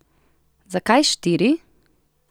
Zakaj štiri?